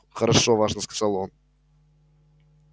хорошо важно сказал он